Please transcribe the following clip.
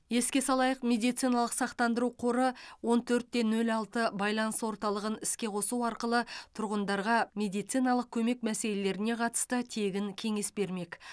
еске салайық медициналық сақтандыру қоры он төрт те нөл алты байланыс орталығын іске қосу арқылы тұрғындарға медициналық көмек мәселелеріне қатысты тегін кеңес бермек